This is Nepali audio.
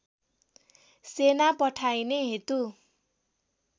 सेना पठाइने हेतु